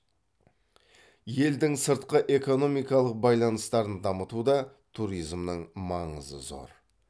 елдің сыртқы экономикалық байланыстарын дамытуда туризмнің маңызы зор